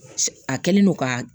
A kɛlen don ka